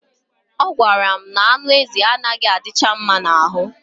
Ọ gwara m na anụ ezi anaghị adicha mma n'ahụ